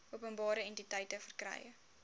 openbare entiteite verkry